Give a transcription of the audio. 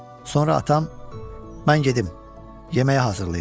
Sonra atam, mən gedim yeməyi hazırlayım.